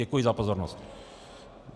Děkuji za pozornost.